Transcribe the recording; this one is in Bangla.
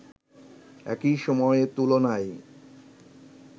একই সময়ের তুলনায়